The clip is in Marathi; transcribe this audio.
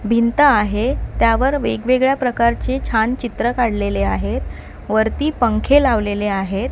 भिंत आहे त्यावर वेगवेगळ्या प्रकारचे छान चित्र काढलेले आहेत वरती पंखे लावलेले आहेत.